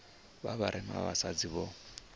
vha vharema vha vhasadzi vho